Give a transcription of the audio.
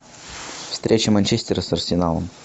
встреча манчестера с арсеналом